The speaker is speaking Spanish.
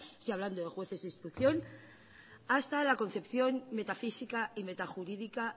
estoy hablando de jueces de instrucción hasta la concepción metafísica y metajurídica